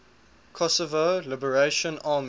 kosovo liberation army